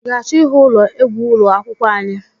I ga-achọ ịhụ ụlọ egwu ụlọ akwụkwọ anyị?